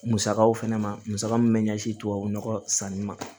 Musakaw fɛnɛ ma musaka min bɛ ɲɛsin tubabu nɔgɔ sanni ma